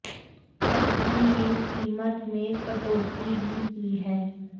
company ने कीमत में कटौती भी की है